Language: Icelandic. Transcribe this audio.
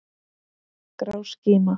Grá skíma.